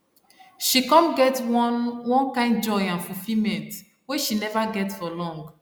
she come get one one kind joy and fulfillment wey she never get for long